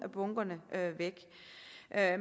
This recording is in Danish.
af